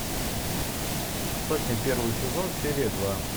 сотня первый сезон серия два